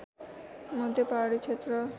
मध्य पहाडी क्षेत्र